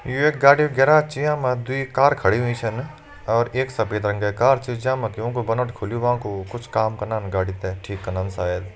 You एक गाड़ी कू गैराज छ ये मा दुई कार खड़ी हुईं छन और एक सफेद रंग की कार छ जै मा वा कू बोनट खुल्युं वां कू कुछ काम कनन गाड़ी तैं ठीक कनन शायद।